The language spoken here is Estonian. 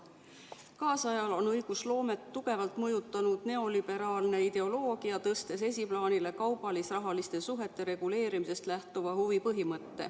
Kaasajal on õigusloomet tugevalt mõjutanud neoliberaalne ideoloogia, tõstes esiplaanile kaubalis-rahaliste suhete reguleerimisest lähtuva huvipõhimõtte.